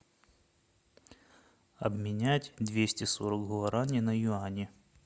обменять двести сорок гуарани на юани